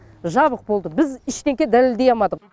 жабық болды біз ештеңке дәлелдей алмадық